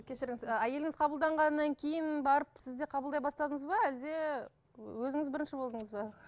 кешіріңіз ы әйеліңіз қабылдағаннан кейін барып сіз де қабылдай бастадыңыз ба әлде өзіңіз бірінші болдыңыз ба